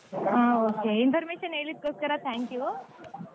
ಆ okay information ಹೇಳಿದಕ್ಕೆ thank you .